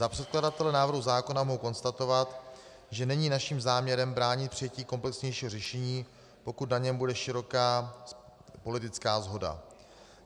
Za předkladatele návrhu zákona mohu konstatovat, že není naším záměrem bránit přijetí komplexnějšího řešení, pokud na něm bude široká politická shoda.